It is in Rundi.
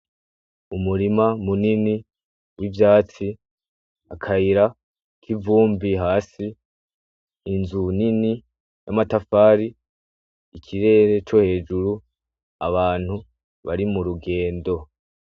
Umurima munini w'ivytasi, akayira kivumbi hasi, inzu nini yamatafari, ikirere co hejuru, abantu bari mu rugendo.